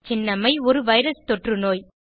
சின்னம்மை ஒரு வைரஸ் தொற்று நோய்